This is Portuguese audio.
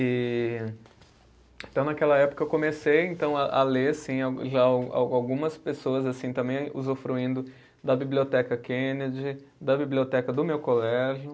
E então naquela época eu comecei então a ler, sim, já algumas pessoas assim também usufruindo da biblioteca Kennedy, da biblioteca do meu colégio.